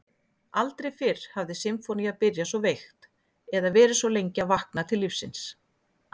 Aldrei fyrr hafði sinfónía byrjað svo veikt eða verið svo lengi að vakna til lífsins.